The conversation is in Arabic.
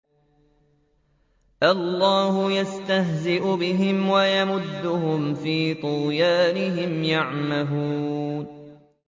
اللَّهُ يَسْتَهْزِئُ بِهِمْ وَيَمُدُّهُمْ فِي طُغْيَانِهِمْ يَعْمَهُونَ